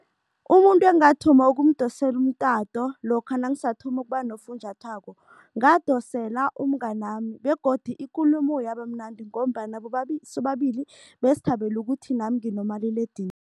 Umuntu engathoma ukumdosele umtato lokha nangisathoma ukuba nofunjathwako, ngadosela umnganami begodu ikulumo yaba mnandi ngombana sobabili besithabele ukuthi nami nginomaliledinini.